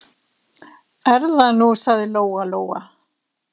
Er það nú, sagði Lóa-Lóa.